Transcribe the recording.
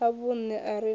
a vhunṋe a re na